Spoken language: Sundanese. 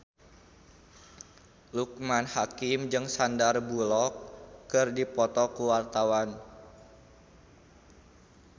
Loekman Hakim jeung Sandar Bullock keur dipoto ku wartawan